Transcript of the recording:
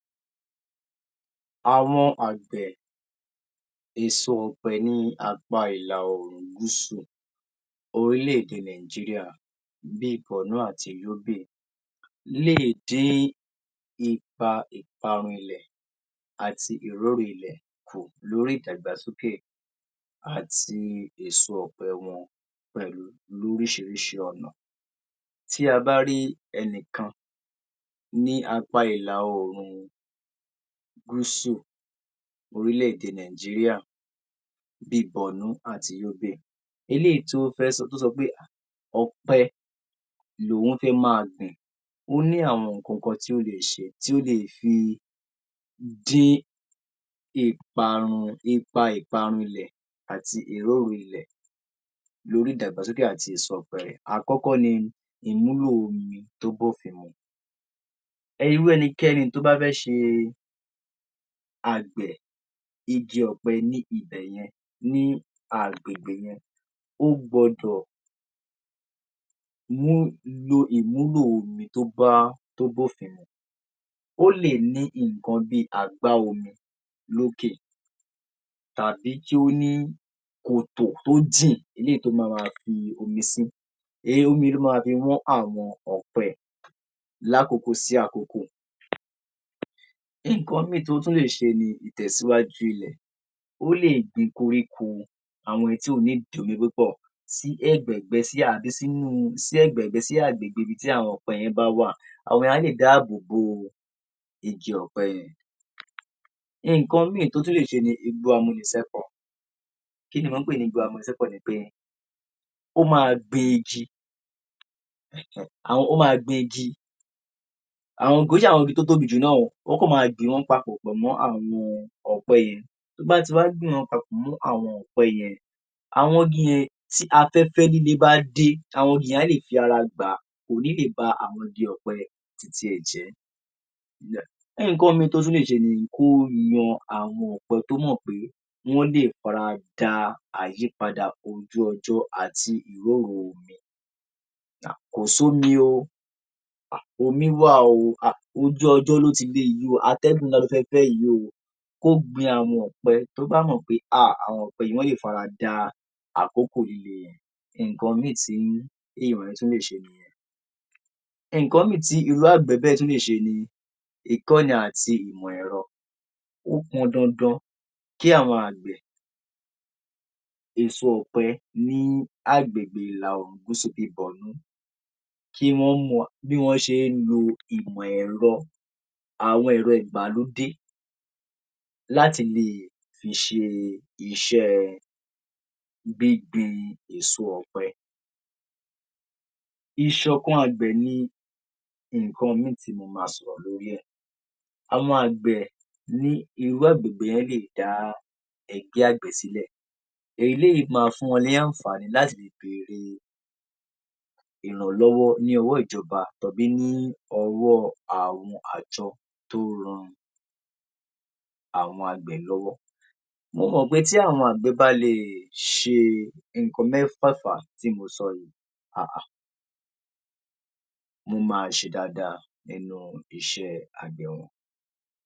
Àwọn àgbẹ̀ èso ọ̀pẹ ní apá ìlà oòrùn gúsù orílẹ̀-èdè Nàìjíríà bí i Borno àti Yobe lè dín ipa ìparun ilẹ̀ àti ìróru ilẹ̀ kù lórí ìdàgbàsókè àti èso ọ̀pẹ wọn pẹ̀lú lóríṣiríṣi ọ̀nà. Tí a bá rí ẹni kan ní apá ilà oòrùn gúsù orílẹ̀-èdè Nàìjíríà bí i Borno àti Yobe. Eléyìí tí ó fẹ́ sọ tó sọ pé um ọ̀pẹ lòun fẹ́ máa gbìn, ó ní àwọn nǹkan kan tí ó lè ṣe tí ó lè fi dín ìparun ipa ìparun àti ìróru ilẹ̀ lórí ìdàgbàsókè àti èso ọ̀pẹ rẹ̀. Àkọ́kọ́ ni ìmúlò omi tó b’ófin mu.[um] Irú ẹnikẹ́ni tó bá fẹ́ ṣe àgbẹ̀ igi ọ̀pẹ ní ibi bẹ̀ yẹn, ní agbègbè yẹn ó gbọdọ̀ mú lo ìmúlò omi tó bá tó b’ófin mu, ó lè ní nǹkan bí i àgbá omi lókè tàbí kí ó ní kòtò tó jìn eléyìí tó máa ma fi omi sí um omi yìí ló máa ma fi wọ́n àwọn ọ̀pẹ lákòkò sí àkókò. Nǹkan míì tó tún lè ṣe ni ìtẹ̀síwájú ilẹ̀. Ó lè gbin koríko àwọn èyí tí kò need omi púpọ̀ sí ẹ̀gbẹ̀gbẹ́ sí ẹ̀gbẹ̀gbẹ́ sí agbègbè ibi tí àwọn ọ̀pẹ yẹn bá wà àwọn yìí á lè dáàbòbo igi ọ̀pẹ yẹn. Nǹkan míì tí ó tún lè ṣe ni igbó amúnisẹ́kọ̀. Kí ni mò ń pè ní igbó amúnisẹ́kọ̀ ni pé ó máa gbin igi um ó máa gbin igi, kì í ṣe àwọn igi tó tóbi jù náà o, ó kàn máa gbìn wọ́n papọ̀ mọ́ àwọn ọ̀pẹ yẹn. Tó bá ti wá gbìn wọ́n papọ̀ mọ́ àwọn ọ̀pẹ yẹn àwọn igi yẹn, tí afẹ́fẹ́ líle bá dé àwọn igi yẹn á lè fi ara gbà á kò ní lè bá awọn igi ọ̀pẹ yẹn ti tíẹ̀ jẹ́. um nǹkan míì tó tún lè ṣe ni kó mọ àwọn ọ̀pẹ tó mọ̀ pé wọ́n lè f’ara da àyípadà ojú ọjọ́ àti ìrorú omi um kò s’ómi o, um omi wà o, um ojú ọjọ́ ló ti le yìí, àtẹ́gùn ńlá ló fẹ́ fẹ́ yìí o. Kó gbin àwọn ọ̀pẹ tó bá mọ̀ pé um àwọn ọ̀pẹ yìí, wọ́n lè f’ara da àkókò líle. Nǹkan míì tí èèyàn tún lè ṣe ni nǹkan míì tí irú àgbẹ̀ bẹ́ẹ̀ tún lè ṣe ni ìkọni àti ìmọ̀ ẹ̀rọ. Ó pọn dandan kí àwọn àgbẹ̀ èso ọ̀pẹ níh agbègbè ìlà oòrùn gúsù bí i Borno kí wọ́n mọ bí wọ́n ṣe ń lo ìmọ̀ ẹ̀rọ, àwọn ẹ̀rọ ìgbàlódé láti lè fi ṣe iṣẹ́ gbíngbin èso ọ̀pẹ. Ìṣòkan àgbẹ̀ ni nǹkan míì tí mo máa sọ̀rọ̀ lórí ẹ̀. Àwọn àgbẹ̀ ní irú agbègbè yẹn lè dá ẹgbẹ́ àgbẹ̀ sílẹ̀, eléyìí máa fún wọn níh àǹfàní láti lè bèrè ìrànlọ́wọ́ ní ọwọ́ ìjọba tàbí ní ọwọ́ àwọn àjọ tó ń ran àwọn àgbẹ̀ lọ́wọ́. Mo mọ̀ pé tí àwọn àgbẹ̀ bá lè ṣe nǹkan mẹ́fẹ̀ẹ̀fà tí mo sọ yìí um wọ́n máa ṣe dáadáa nínú iṣẹ́ àgbẹ̀ wọn.